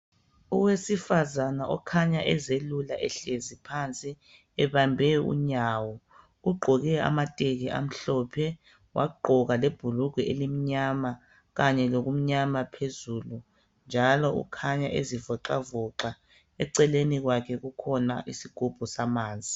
Owesifazana okhanya ezelula, ehlezi phansi, ebambe unyawo..Ugqoke amateki amhlophe. Wagqoka lebhulugwe elimnyama, kanye lokumnyama phezulu, njalo ukhanya ezivoxavoxa.. Eceleni kwakhe, kukhanya isigubhu samanzi.